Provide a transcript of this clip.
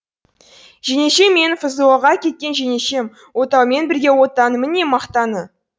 жеңешем менің фзо ға кеткен жеңешем отаумен бірге отанның міне мақтаны